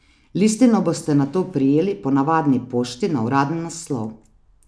Listino boste nato prejeli po navadni pošti na uraden naslov.